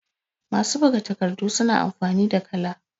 masu buga takardu suna amfani da kala